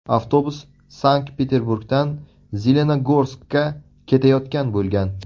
Avtobus Sankt-Peterburgdan Zelenogorskka ketayotgan bo‘lgan.